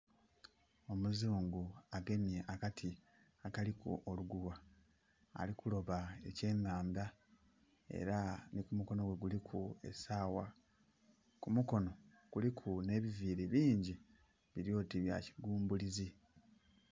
Omuzungu agemye akati akiliku olugugha, ali kuloba ekye nhandha era nhi ku mukonho gwe kuliku esawa. Ku mukonho kuliku nhe biviiri bingi bili oti bya kigumbulizi.